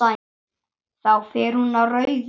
Þá fer hún á rauðu.